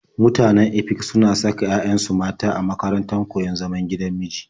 Mutanen Efik suna saka 'ya'yansu mata a makarantar koyon zaman gigan miji.